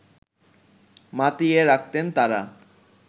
মাতিয়ে রাখতেন তারা